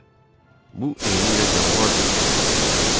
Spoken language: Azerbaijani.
Bu eynilə canavar döyüşünə bənzəyirdi.